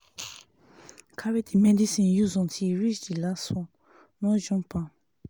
carry the medicine use untill e reach di last one no jump am.